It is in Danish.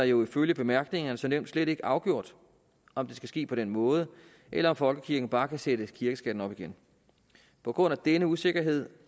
jo ifølge bemærkningerne som nævnt slet ikke afgjort om det skal ske på den måde eller om folkekirken bare kan sætte kirkeskatten op igen på grund af denne usikkerhed